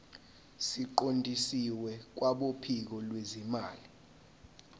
siqondiswe kwabophiko lwezimali